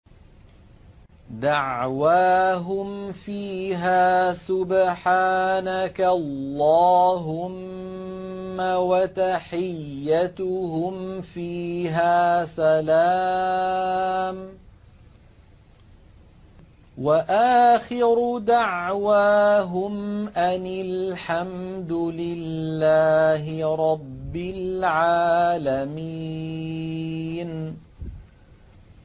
دَعْوَاهُمْ فِيهَا سُبْحَانَكَ اللَّهُمَّ وَتَحِيَّتُهُمْ فِيهَا سَلَامٌ ۚ وَآخِرُ دَعْوَاهُمْ أَنِ الْحَمْدُ لِلَّهِ رَبِّ الْعَالَمِينَ